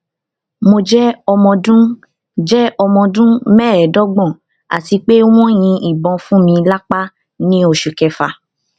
mo jẹ omoọdun jẹ omoọdun meedogbon ati pe won yin ibon funmi lapa ni oṣu kefa